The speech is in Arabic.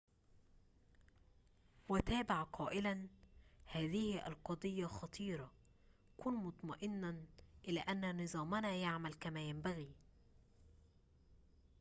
وتابع قائلاّ هذه القضيّة خطيرةٌ كن مطمئناً إلى أن نظامنا يعمل كما ينبغي